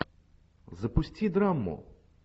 запусти драму